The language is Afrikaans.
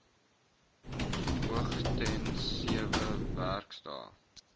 hoogstens sewe werksdae